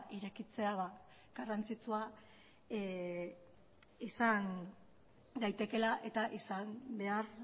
irekitzea garrantzitsua izan daitekeela eta izan behar